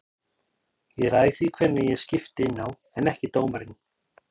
Ég ræð því hvenær ég skipti inná en ekki dómarinn.